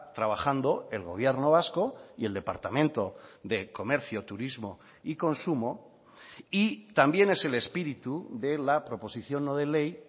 trabajando el gobierno vasco y el departamento de comercio turismo y consumo y también es el espíritu de la proposición no de ley